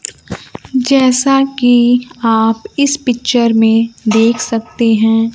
जैसा कि आप इस पिक्चर में देख सकते हैं।